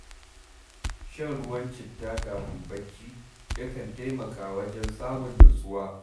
Shan ruwan citta kafin barci, yakan taimaka wajen samun natsuwa.